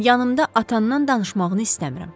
Yanımda atandan danışmağını istəmirəm.